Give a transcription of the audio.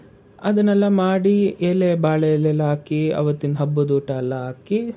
ಅದನ್ನೆಲ್ಲ ಮಾಡಿ ಎಲೆ ಬಾಳೆ ಎಳೆಯೆಲ್ಲ ಹಾಕಿ ಅವತ್ತಿನ್ ಹಬ್ಬದೂಟ ಎಲ್ಲಾ ಹಾಕಿ,